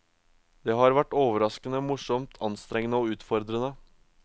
Det har vært overraskende, morsomt, anstrengende og utfordrende.